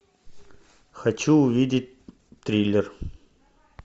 хочу увидеть триллер